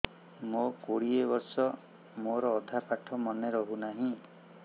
ମୋ କୋଡ଼ିଏ ବର୍ଷ ମୋର ଅଧା ପାଠ ମନେ ରହୁନାହିଁ